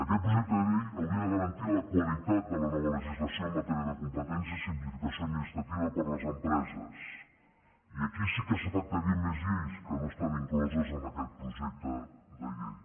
aquest projecte de llei hauria de garantir la qualitat de la nova legislació en matèria de competències i simplificació administrativa per a les empreses i aquí sí que s’afectarien més lleis que no estan incloses en aquest projecte de llei